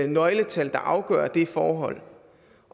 nøgletal der afgør det forhold